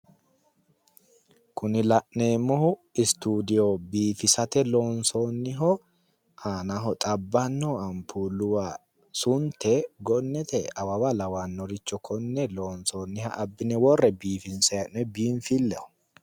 Kuni la'neemohu studiyoo loosate biifisate lonsoonniho aanaho xabbano ampuulluwa sunte gonnete awawa lawannoricho konne lonsoonniha abbine worre biifinsayi hee'noyi binifilleho